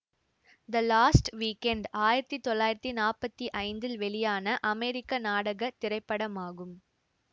த Lost Weekend ஆயிரத்தி தொள்ளாயிரத்தி நாப்பத்தி ஐந்தில் வெளியான அமெரிக்க நாடக திரைப்படமாகும்